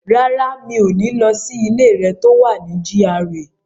Rárá, mi ò ní lọ sí ilé rẹ̀ tó wà ní GRA.